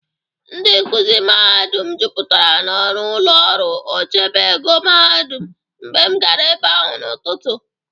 Ndị nkụzị mahadum jụpụtara n'ọnụ ụlọ ọrụ ochebe ego mahadum mgbe m gara ebe ahụ n'ụtụtụ.